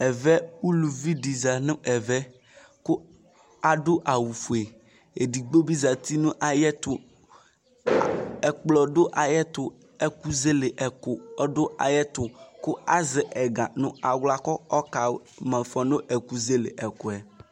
ɛvɛ uluvi di za no ɛvɛ kò ado awu fue edigbo bi zati no ayɛto ɛkplɔ do ayɛto ɛkò zele ɛkò ɔdo ayɛto kò azɛ ɛga no ala kò ɔka ma ifɔ no ɛkuzele ɛkòɛ